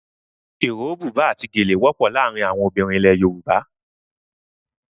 Iro, buba àti gèlè wọ́pọ̀ láàárín àwọn ọmọbìnrin ilẹ̀ Yorùbá.